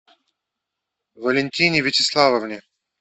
валентине вячеславовне